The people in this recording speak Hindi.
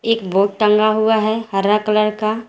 एक बोर्ड टंगा हुआ है हरा कलर का।